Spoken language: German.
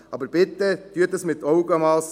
Aber bitte machen Sie dies mit Augenmass.